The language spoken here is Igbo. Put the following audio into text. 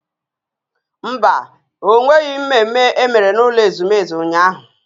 Mba, ọ nweghị mmemme emere n'ụlọ ezumezu ụnyahụ